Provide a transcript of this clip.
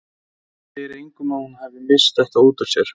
Hún segi engum að hún hafi misst þetta út úr sér.